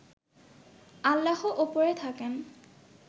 আল্লাহ ওপরে থাকেন